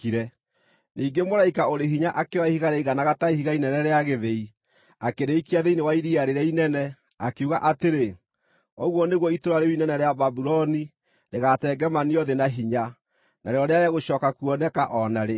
Ningĩ mũraika ũrĩ hinya akĩoya ihiga rĩaiganaga ta ihiga inene rĩa gĩthĩi, akĩrĩikia thĩinĩ wa iria rĩrĩa inene, akiuga atĩrĩ: “Ũguo nĩguo itũũra rĩu inene rĩa Babuloni rĩgaatengemanio thĩ na hinya, narĩo rĩage gũcooka kuoneka o na rĩ.